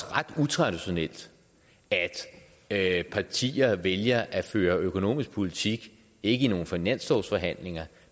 ret utraditionelt at partier vælger at føre økonomisk politik ikke i nogle finanslovsforhandlinger